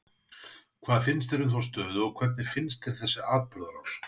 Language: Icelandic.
Hvað finnst þér um þá stöðu og hvernig finnst þér þessi atburðarás?